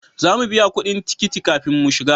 Za mu biya kudin tikiti kafin mu shiga